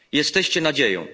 Jesteście nadzieją.